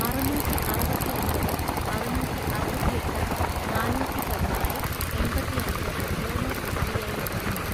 അറുനൂറ്റിഅറുപത്തിഒൻപത് അറുനൂറ്റിഅറുപത്തിഎട്ട് നാനാന്നൂറ്റിപതിനാല് എൺപത്തിഅഞ്ച് യോനോ എസ്.ബി.ഐ ൽ ഉണ്ടോ?